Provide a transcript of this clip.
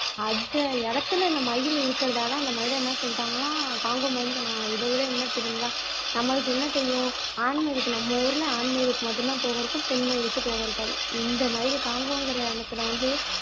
அந்த இடத்துல இந்த மயில் இருக்கிறதால அந்த மயிலை என்ன சொல்லிட்டாங்கன்னா காங்கோ மயில் சொன்னாங்களாம் இதை விட என்ன தெரியுங்களா நம்மளுக்கு என்ன தெரியும் ஆண் மயில்க்கு நம்ம ஊர்ல ஆண் மயிலுக்கு மட்டும்தான் தோகை இருக்கும் பெண் மயிலுக்கு தோகை இருக்காது இந்த மயிலு காங்கோங்கிற இனத்துல வந்து